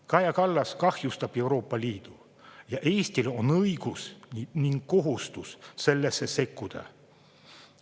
Kaja Kallas kahjustab Euroopa Liitu ning Eestil on õigus ja kohustus sellesse sekkuda.